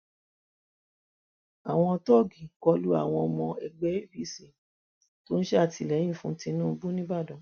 àwọn tóògì kọ lu àwọn ọmọ ẹgbẹ apc tó ń ṣàtìlẹyìn fún tinubu nìbàdàn